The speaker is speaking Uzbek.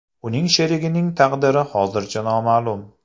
Uning sherigining taqdiri hozircha noma’lum.